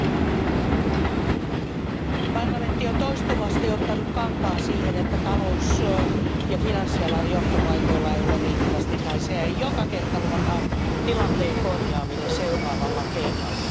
Arvoisa puhemies, parlamentti on toistuvasti ottanut kantaa siihen, että talous ja finanssialan johtopaikoilla ei ole riittävästi naisia ja joka kerta luvataan tilanteen korjaaminen seuraavalla kerralla.